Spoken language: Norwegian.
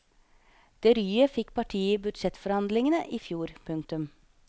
Det ryet fikk partiet i budsjettforhandlingene i fjor. punktum